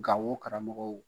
Gao karamɔgɔw